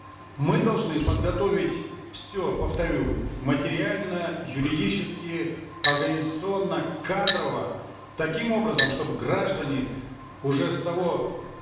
мы должны подготовить все повторю материально юридически организационно кадрово таким образом чтобы граждане уже с того